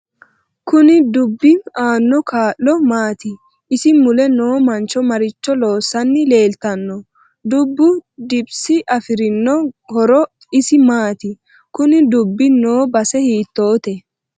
Kuni dubbi aanno kaa'lo maati isi mule noo mancho maricho loosani leeltanno dubbu kiddpsi afirinno horo isi maati kuni dubbi noo base hiitoote